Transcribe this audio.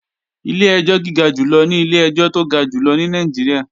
Ilé ẹjọ́ gíga jù lọ ní ilé ẹjọ́ tó ga jù lọ ní Nàìjíríà